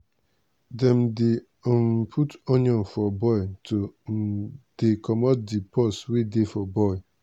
dem dey um put onion for boil to um dey comot di pus wey dey di boil.